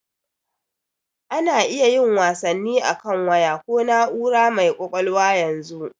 A na iya yin wasanni akan waya ko na'ura mai ƙwaƙwalwa yanzu.